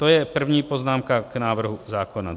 To je první poznámka k návrhu zákona.